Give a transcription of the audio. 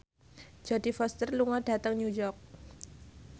Jodie Foster lunga dhateng New York